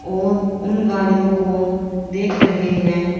और उन गाड़ियों को देख रहे हैं।